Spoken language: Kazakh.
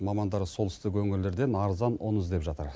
мамандар солтүстік өңірлерден арзан ұн іздеп жатыр